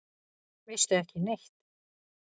Veistu ekki neitt?